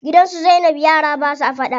Gidan su zainab yara basa faɗa.